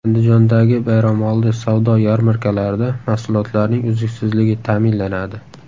Andijondagi bayramoldi savdo yarmarkalarida mahsulotlarning uzluksizligi ta’minlanadi .